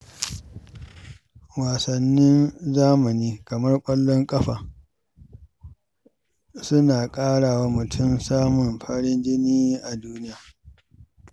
Wasannin zamani kamar ƙwallon ƙafa suna ƙara wa mutum samun farin jini a duniya.